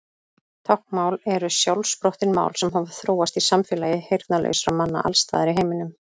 Táknmál eru sjálfsprottin mál sem hafa þróast í samfélagi heyrnarlausra manna alls staðar í heiminum.